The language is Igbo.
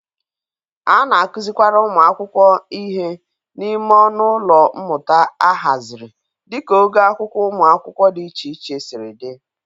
A na-akụzịkwara ụmụ akwụkwọ ihe n'ime ọnụ ụlọ mmụta ahazịrị dịka ogo akwụkwọ ụmụ akwụkwọ dị iche iche siri dị.